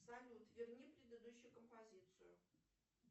салют верни предыдущую композицию